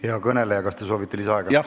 Hea kõneleja, kas te soovite lisaaega?